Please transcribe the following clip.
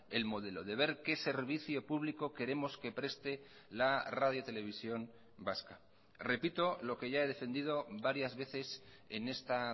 el modelo de ver qué servicio público queremos que preste la radiotelevisión vasca repito lo que ya he defendido varias veces en esta